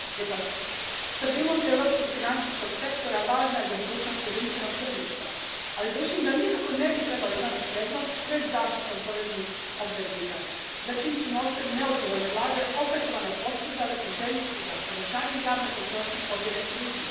Gospođo potpredsjednice, stabilnost europskog financijskog sektora važna je za budućnost jedinstvenog tržišta. Ali, držim da nikako ne bi trebala imati prednost pred zaštitom poreznih obveznika za čijim su novcem neodgovorne vlade opetovano posezale u želji da povećanjem javne potrošnje pobjede krizu.